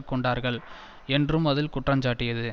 கொண்டார்கள் என்றும் அது குற்றஞ்சாட்டியது